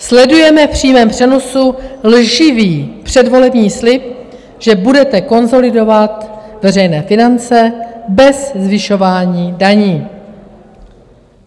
Sledujeme v přímém přenosu lživý předvolební slib, že budete konsolidovat veřejné finance bez zvyšování daní.